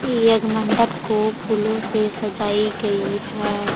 ये एक मंडप को फूलों से सजाई गई है।